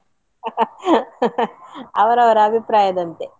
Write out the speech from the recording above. ಅವರವರ ಅಭಿಪ್ರಾಯದಂತೆ.